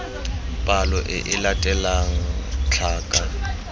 palo e e latelang tlhaka